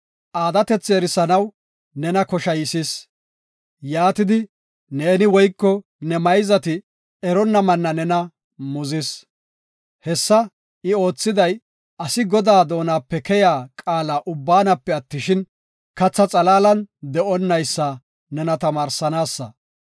Aadatethi erisanaw nena koshaysis; yaatidi ne woyko ne mayzati eronna Manna nena muzis. Hessa I oothiday asi Godaa doonape keyiya qaala ubbaanape attishin, katha xalaalan de7onnaysa nena tamaarsanaasa.